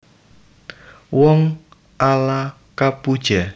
Wong ala kapuja